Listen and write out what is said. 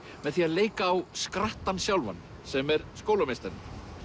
með því að leika á skrattann sjálfan sem er skólameistarinn